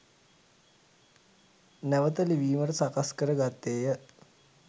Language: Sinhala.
නැවත ලිවීමට සකස් කර ගත්තේය